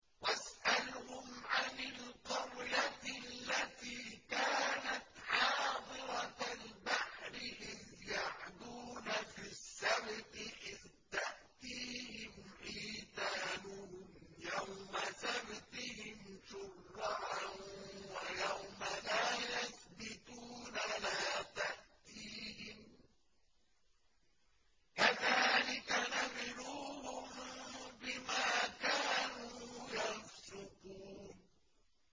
وَاسْأَلْهُمْ عَنِ الْقَرْيَةِ الَّتِي كَانَتْ حَاضِرَةَ الْبَحْرِ إِذْ يَعْدُونَ فِي السَّبْتِ إِذْ تَأْتِيهِمْ حِيتَانُهُمْ يَوْمَ سَبْتِهِمْ شُرَّعًا وَيَوْمَ لَا يَسْبِتُونَ ۙ لَا تَأْتِيهِمْ ۚ كَذَٰلِكَ نَبْلُوهُم بِمَا كَانُوا يَفْسُقُونَ